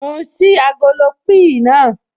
Mò ń ṣí agolo píì naa